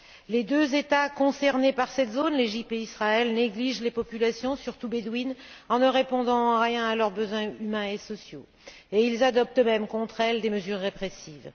Les deux États concernés par cette zone, l'Égypte et Israël, négligent les populations, surtout bédouines, en ne répondant en rien à leurs besoins humains et sociaux, et ils adoptent même contre elles des mesures répressives.